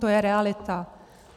To je realita.